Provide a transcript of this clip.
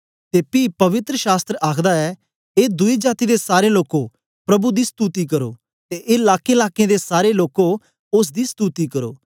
ते पी पवित्र शास्त्र आखदा ऐ ए दुई जाती दे सारे लोकें प्रभु दी स्तुति करो ते ए लाकेंलाकें दे सारे लोकें ओसदी स्तुति करो